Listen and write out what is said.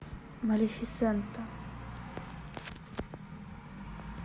малефисента